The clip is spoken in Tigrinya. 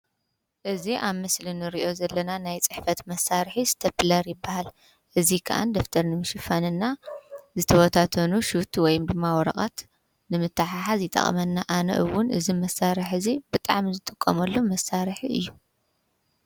እዚ አብ ምስሊ ንሪኦ ዘለና ናይ ፅሕፈት መሳርሒ ስቴፕለር ይበሃል። እዙይ ከዓ ደፍተር ንምሽፋን እና ዝተበታተኑ ሹት ወይ ከዓ ወረቀት ንምትሕሓዝ ይጠቅመና። አነ እውን እዚ መሳርሒ እዙይ ብጣዕሚ ዝጥቀምሉ መሳርሒ እዩ።